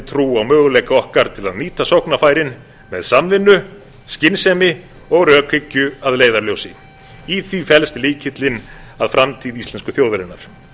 á möguleika okkar til að nýta sóknarfærin með samvinnu skynsemi og rökhyggju að leiðarljósi í því felst lykillinn að framtíð íslensku þjóðarinnar